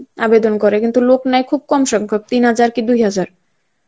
আবেদন করে কিন্তু লোক নাই খুব কম সংখ্যক তিন হাজার কি দুই হাজার.